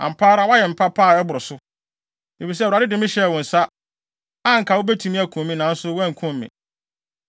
Ampa ara woayɛ me papa a ɛboro so, efisɛ Awurade de me hyɛɛ wo nsa, a anka wubetumi akum me nanso woankum me.